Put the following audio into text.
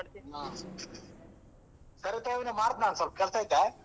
ಸರಿ ಹೊತ್ನಗ್ ಮಾಡ್ತೆ ಸ್ವಲ್ಪ ಕೆಲಸಯ್ತೆ.